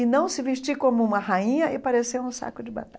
E não se vestir como uma rainha e parecer um saco de